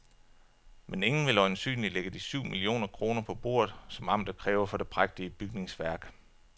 Men ingen vil øjensynligt lægge de syv millioner kroner på bordet, som amtet kræver for det prægtige bygningsværk.